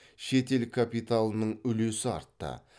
шетел капиталының үлесі артты